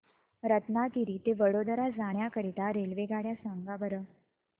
रत्नागिरी ते वडोदरा जाण्या करीता रेल्वेगाड्या सांगा बरं